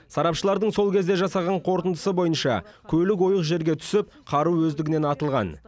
сарапшылардың сол кезде жасаған қорытындысы бойынша көлік ойық жерге түсіп қару өздігінен атылған